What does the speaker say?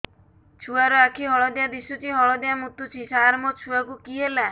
ଛୁଆ ର ଆଖି ହଳଦିଆ ଦିଶୁଛି ହଳଦିଆ ମୁତୁଛି ସାର ମୋ ଛୁଆକୁ କି ହେଲା